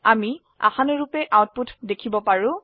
আমি আশানুৰুপে আউটপুট দেখিবলৈ পাৰো